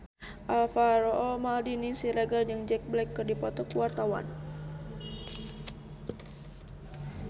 Alvaro Maldini Siregar jeung Jack Black keur dipoto ku wartawan